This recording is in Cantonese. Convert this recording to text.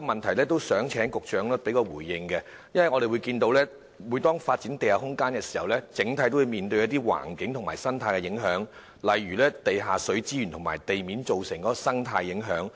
此外，我想請局長回應另一問題，因為每當我們要發展地下空間，都會面對一些環境和生態影響，例如地下水資源及在地面造成的生態影響。